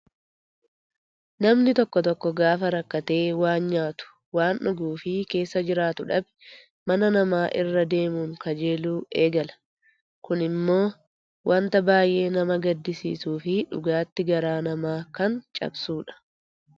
Namni tokko tokko gaafa rakkatee waan nyaatu, waan dhuguu fi keessa jiraatu dhabe mana namaa irra deemuun kajeeluu eegala. Kunimmoo wanta baay'ee nama gaddisiisuu fi dhugaatti garaa nama kan cabsudha.